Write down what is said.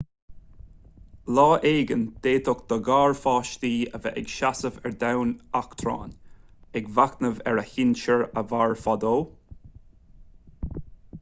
lá éigin d'fhéadfadh do gharpháistí a bheith ag seasamh ar dhomhan eachtráin ag machnamh ar a sinsir a mhair fadó